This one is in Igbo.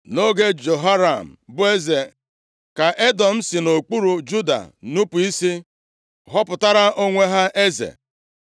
Nʼoge Jehoram bụ eze, ka Edọm si nʼokpuru Juda nupu isi, họpụtara onwe ha eze.